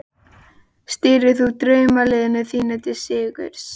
Stýrir þú draumaliðinu þínu til sigurs?